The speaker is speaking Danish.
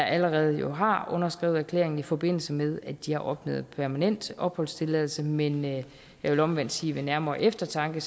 allerede har underskrevet erklæringen i forbindelse med at de har opnået permanent opholdstilladelse men jeg vil omvendt sige ved nærmere eftertanke